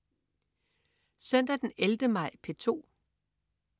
Søndag den 11. maj - P2: